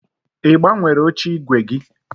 Ị gbanwere oche ígwè gị?